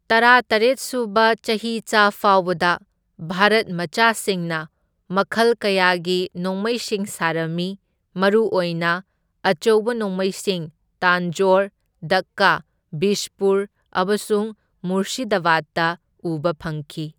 ꯇꯔꯥꯇꯔꯦꯠ ꯁꯨꯕ ꯆꯍꯤꯆꯥ ꯐꯥꯎꯕꯗ ꯚꯥꯔꯠ ꯃꯆꯥꯁꯤꯡꯅ ꯃꯈꯜ ꯀꯌꯥꯒꯤ ꯅꯣꯡꯃꯩꯁꯤꯡ ꯁꯥꯔꯝꯃꯤ, ꯃꯔꯨꯑꯣꯏꯅ ꯑꯆꯧꯕ ꯅꯣꯡꯃꯩꯁꯤꯡ, ꯇꯥꯟꯖꯣꯔ, ꯗꯛꯀꯥ, ꯕꯤꯖꯄꯨꯔ ꯑꯃꯁꯨꯡ ꯃꯨꯔꯁꯤꯗꯕꯥꯗꯇ ꯎꯕ ꯐꯪꯈꯤ꯫